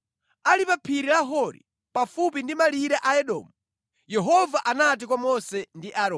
Ali pa phiri la Hori, pafupi ndi malire a Edomu, Yehova anati kwa Mose ndi Aaroni,